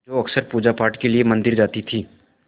जो अक्सर पूजापाठ के लिए मंदिर जाती थीं